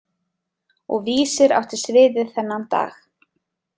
Og Vísir átti sviðið þennan dag.